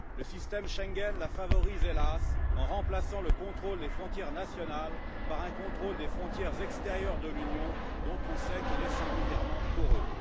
Le système Schengen la favorise, hélas, en remplaçant le contrôle des frontières nationales par un contrôle des frontières extérieures de l'Union, dont on sait qu'il est singulièrement poreux.